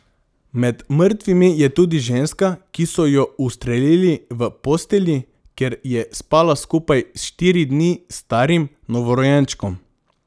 Med mrtvimi je tudi ženska, ki so jo ustrelili v postelji, kjer je spala skupaj s štiri dni starim novorojenčkom.